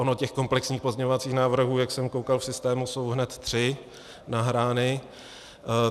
Ono těch komplexních pozměňovacích návrhů, jak jsem koukal, v systému jsou hned tři nahrány.